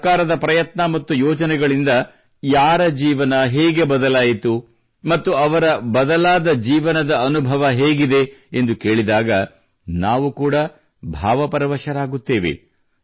ಸರ್ಕಾರದ ಪ್ರಯತ್ನ ಮತ್ತು ಯೋಜನೆಗಳಿಂದ ಯಾರ ಜೀವನ ಹೇಗೆ ಬದಲಾಯಿತು ಮತ್ತು ಅವರ ಬದಲಾದ ಜೀವನದ ಅನುಭವ ಹೇಗಿದೆ ಎಂದು ಕೇಳಿದಾಗ ನಾವು ಕೂಡಾ ಭಾವಪರವಶರಾಗುತ್ತೇವೆ